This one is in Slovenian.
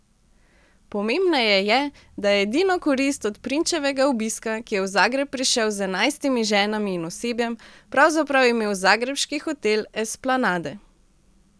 Pomembneje je, da je edino korist od prinčevega obiska, ki je v Zagreb prišel z enajstimi ženami in osebjem, pravzaprav imel zagrebški hotel Esplanade.